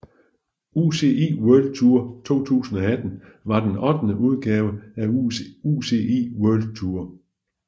UCI World Tour 2018 var den ottende udgave af UCI World Tour